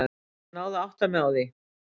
Ég náði að átta mig á því.